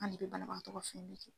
An ne bɛ banabagatɔ ka